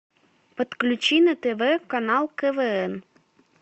подключи на тв канал квн